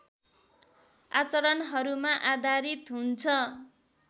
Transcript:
आचरणहरूमा आधारित हुन्छ